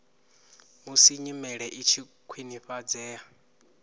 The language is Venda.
musi nyimele i tshi khwinifhadzea